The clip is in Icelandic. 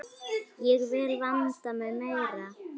Ég vil vanda mig meira.